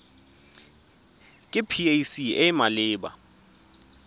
ke pac e e maleba